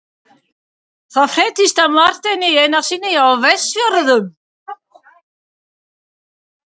Það fréttist af Marteini Einarssyni á Vestfjörðum.